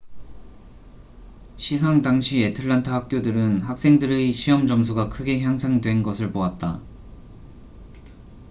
시상 당시 애틀랜타 학교들은 학생들의 시험 점수가 크게 향상된 것을 보았다